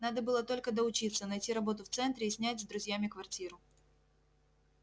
надо было только доучиться найти работу в центре и снять с друзьями квартиру